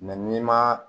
n'i ma